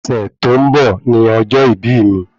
Ọ̀sẹ̀ tó ń bọ̀ ni ọjọ́ ìbí ì mi